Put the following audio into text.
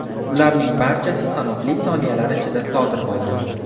Bularning barchasi sanoqli soniyalar ichida sodir bo‘ldi.